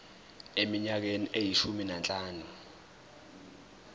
eminyakeni eyishumi nanhlanu